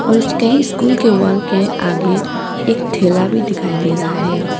उसके स्कूल के वॉल के आगे एक ठेला भी दिखाई दे रहा है।